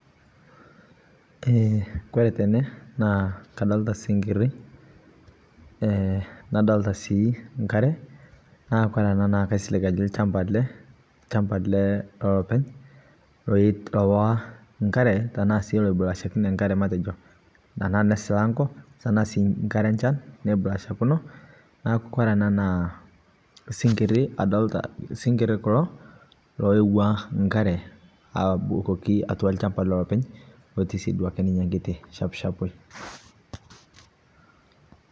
kore tenee naa kadolitaa sinkirii eee nadolitaa sii nkaree naa kore anaa naa kaisilig ajoo lshampaa alee lshampaa lelopeny lowaa nkaree tanaa sii loibulaashakenii nkaree matejo tanaa nesilangoo tanaa sii nkaree ee nchan neibulaashakinoo naaku kore anaa naa sinkirii adolitaa, sinkirii kuloo loewaa nkareee abukokii atua lshampaa lelopeny lotii sii duake ninyee nkitii shapshapoi.